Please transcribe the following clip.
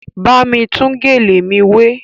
Bámi tún gèlè mi wé!